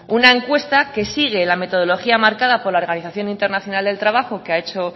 una encuesta que sigue la metodología marcada por la organización internacional del trabajo que ha hecho